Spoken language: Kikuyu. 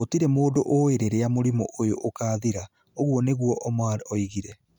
Gũtirĩ mũndũ ũĩ rĩrĩa mũrimũ ũyũ ũkaathira", ũguo nĩguo Omar ougire.